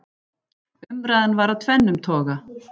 Umræðan var af tvennum toga.